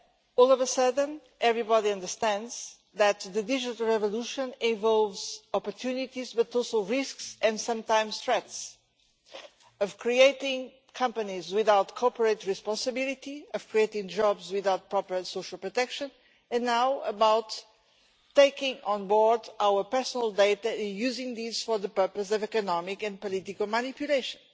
All of a sudden, everybody understands that the digital revolution involves opportunities but also risks, and sometimes threats, of creating companies without corporate responsibility, of creating jobs without proper social protection and now about taking on board our personal data and using these for the purpose of economic and political manipulation.